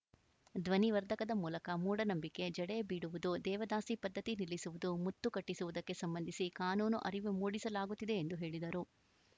ಧ್ವನಿವರ್ಧಕದ ಮೂಲಕ ಮೂಢನಂಬಿಕೆ ಜಡೆ ಬೀಡುವುದು ದೇವದಾಸಿ ಪದ್ಧತಿ ನಿಲ್ಲಿಸುವುದು ಮುತ್ತು ಕಟ್ಟಿಸುವುದಕ್ಕೆ ಸಂಬಂಧಿಸಿ ಕಾನೂನು ಅರಿವು ಮೂಡಿಸಲಾಗುತ್ತಿದೆ ಎಂದು ಹೇಳಿದರು